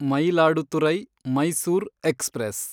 Mayiladuthurai Mysore express